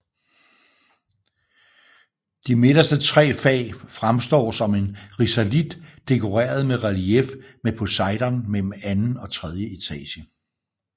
De midterste tre fag fremstår som en risalit dekoreret med relief med Poseidon mellem mellem anden og tredje etage